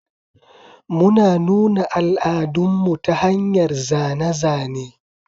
Muna nuna al'adunmu ta hanyar zane-zane.